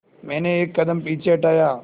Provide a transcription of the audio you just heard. मैंने एक कदम पीछे हटाया